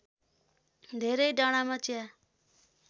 धेरै डाँडामा चिया